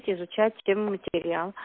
изучать и материал